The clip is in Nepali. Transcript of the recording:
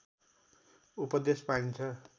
उपदेश पाइन्छ